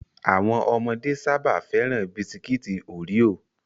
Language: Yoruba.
Àwọn ọmọdé sáábà féràn Bisikiti Oreo